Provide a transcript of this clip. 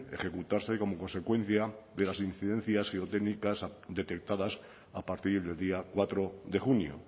ejecutarse como consecuencia de las incidencias geotécnicas detectadas a partir del día cuatro de junio